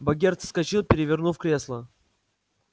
богерт вскочил перевернув кресло